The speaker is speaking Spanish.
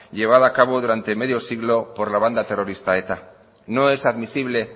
llevada a cabo medio siglo por la banda terrorista eta no es admisible